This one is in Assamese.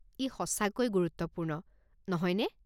ই সঁচাকৈ গুৰুত্বপূৰ্ণ, নহয় নে?